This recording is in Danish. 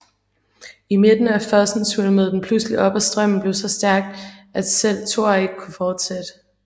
I midten af fossen svulmede den pludselig op og strømmen blev så stærk at selv Thor ikke kunne fortsætte